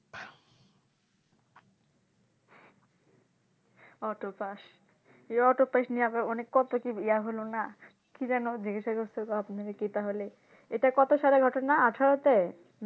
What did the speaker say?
Autopass এই Auto pass নিয়ে আবার অনেক কত কি ইয়া হলো না কি যেন জিজ্ঞাসা করছিলো আপনি কি তাহলে এটা কত সালের ঘটনা আঠারোতে